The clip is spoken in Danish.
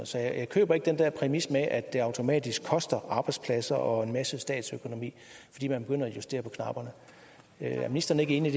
så jeg køber ikke den der præmis med at det automatisk koster arbejdspladser og en masse statsøkonomi fordi man begynder at justere på knapperne er ministeren ikke enig